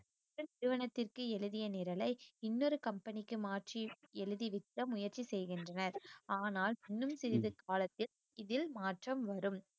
நிறுவனத்திற்கு எழுதிய நிரலை இன்னொரு company க்கு மாற்றி எழுதி விற்க முயற்சி செய்கின்றனர் ஆனால் இன்னும் சிறிது காலத்தில் இதில் மாற்றம் வரும்